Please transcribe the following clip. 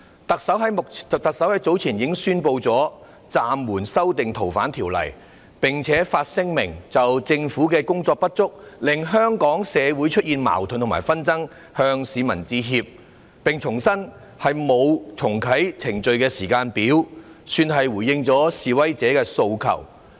特首早前已經宣布暫緩修訂《逃犯條例》，並發聲明就政府工作的不足令香港社會出現矛盾和紛爭，向市民致歉，重申沒有重啟程序的時間表，算是回應了示威者的訴求。